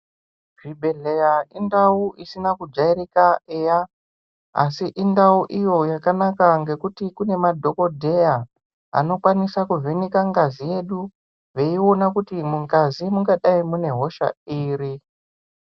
Zvibhehleya indau isina kujairika eya asi indau iyo yakanaka ngekuti kune madhokodheya anokwanisa kuvheneka ngazi yedu veiona kuti mungazi mungadai mune hosha iri.